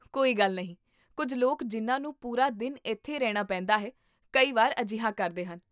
ਕੋਈ ਗੱਲ ਨਹੀਂ, ਕੁੱਝ ਲੋਕ ਜਿਨ੍ਹਾਂ ਨੂੰ ਪੂਰਾ ਦਿਨ ਇੱਥੇ ਰਹਿਣਾ ਪੈਂਦਾ ਹੈ, ਕਈ ਵਾਰ ਅਜਿਹਾ ਕਰਦੇ ਹਨ